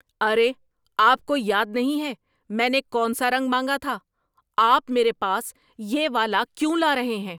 ارے، آپ کو یاد نہیں ہے میں نے کون سا رنگ مانگا تھا؟ آپ میرے پاس یہ والا کیوں لا رہے ہیں؟